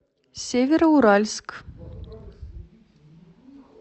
североуральск